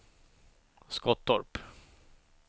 Skottorp